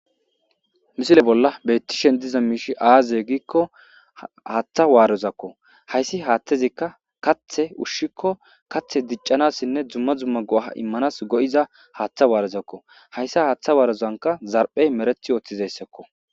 Misile bolla beyttishen diza miishi aazye giikko haaththa waarozakko hayssi haathtezikka kathe ushshikko kathe diccanassinne dzumma zumma go7ha immanas go7iza haaththa waarozakko hayssa haaththa waarozanka zarphey mereth yooththizayssakko.